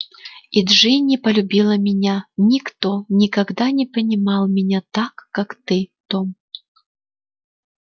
и джинни полюбила меня никто никогда не понимал меня так как ты том